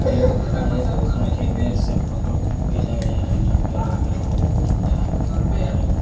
जंगल से फोटो भेजा गया है जंगल में बहुत ही ठीक ठाक है।